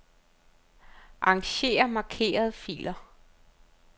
Arranger markerede filer.